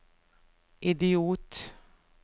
idiot